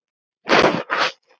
Tékkar ráku lestina án stiga.